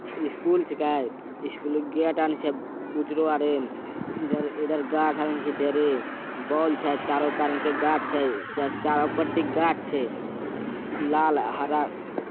स्कूल छिके स्कूल में गेट आर छै ऊजरो आरिन इधर-इधर गाछ आर छै ढेरी बल्ब छै गाछ छै चारो पाटी गाछ छै लाल हरा।